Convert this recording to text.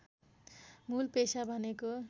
मूल पेशा भनेको